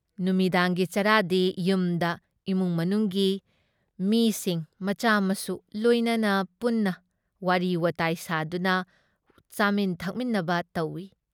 ꯅꯨꯃꯤꯗꯥꯡꯒꯤ ꯆꯔꯥꯗꯤ ꯌꯨꯝꯗ ꯏꯃꯨꯡ ꯃꯅꯨꯡꯒꯤ ꯃꯤꯁꯤꯡ ꯃꯆꯥꯃꯁꯨ ꯂꯣꯏꯅꯅ ꯄꯨꯟꯅ ꯋꯥꯔꯤ ꯋꯥꯇꯥꯏ ꯁꯥꯗꯨꯅ ꯆꯥꯃꯤꯟ ꯊꯛꯃꯤꯟꯅꯕ ꯇꯧꯏ ꯫